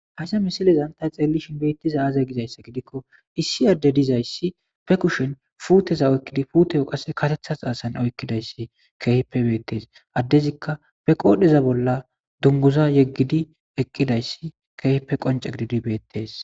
Haysa missilezan ta xelishe betizay aze gizaysa gidiko issi adey dizaysa be kushen puteza oykidi puteyo qase karetha xasan oykidaysi kehipe betes adezika qodheza bola dunguza yegidi eqidays kehipe qonc'e gididi betes.